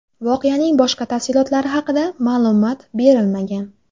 Voqeaning boshqa tafsilotlari haqida ma’lumot berilmagan.